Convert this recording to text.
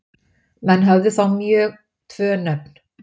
Menn höfðu þá mjög tvö nöfn.